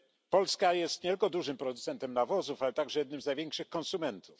Polska jest nie tylko dużym producentem nawozów, ale także jednym z największych konsumentów.